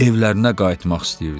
Evlərinə qayıtmaq istəyirdi.